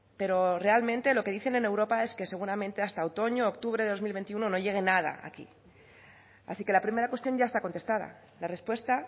pero realmente lo que dicen en europa es que seguramente hasta otoño octubre del dos mil veintiuno no llegue nada aquí así que la primera cuestión ya está contestada la respuesta